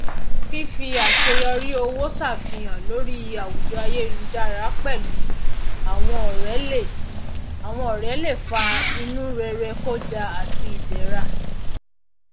fífì àṣeyọrí owó ṣàfihàn lórí àwùjọ ayélujára pẹlú àwọn ọrẹ le ọrẹ le fa inúrerekója àti ìdẹra